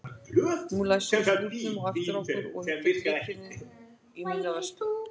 Nú læsum við skúrnum á eftir okkur og ég tek lykilinn í mína vörslu.